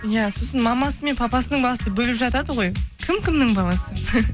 иә сосын мамасы мен папасының басы бөліп жатады ғой кім кімнің баласы